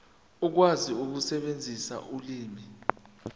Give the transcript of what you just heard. ukwazi ukusebenzisa ulimi